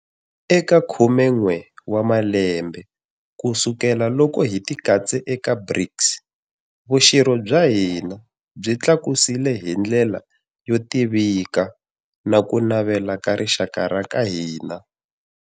Eka khumen'we wa malembe kusukelaloko hi tikatse eka BRICS, vuxirho bya hina byi tlakusile hi ndlela yo tivikana ku navela ka rixaka ra ka hina.